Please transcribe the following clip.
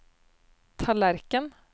tallerken